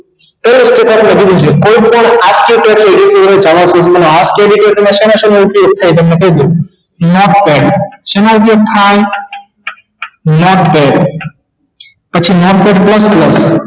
કેવી રીતે કરવાનું કોઈ પણ શેનો શેનો ઉપયોગ થાય છે તે તમને કઈ દવ notepad શેના ઉપયોગ માં આવે notepad પછી